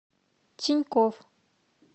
тинькофф